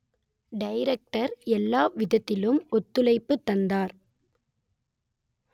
director எல்லாவிதத்திலும் ஒத்துழைப்பு தந்தார்